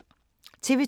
TV 2